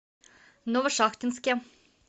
новошахтинске